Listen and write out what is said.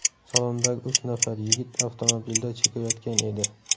Salondagi uch nafar yigit avtomobilda chekayotgan edi.